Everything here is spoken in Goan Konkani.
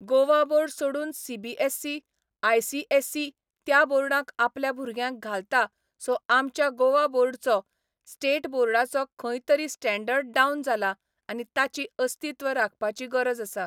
गोवा बोर्ड सोडून C B S C, I C S E त्या बोर्डांक आपल्या भुरग्यांक घालता सो आमच्या गोवा बोर्डचो, स्टॅट बोर्डाचें खंय तरी स्टेंडर्ड डावन जाला आनी ताची अस्तित्व राखपाची गरज आसा.